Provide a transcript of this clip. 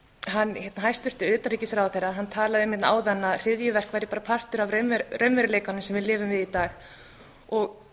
að segja hæstvirtur utanríkisráðherra talaði um áðan að hryðjuverk væri bara partur af raunveruleikanum sem við lifum við í dag þetta